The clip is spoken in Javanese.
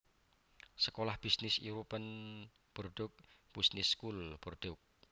Sekolah bisnis European Bordeaux Business School Bordeaux